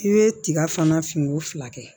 I bɛ tiga fana fini fila kɛ